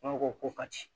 ko ko ka ci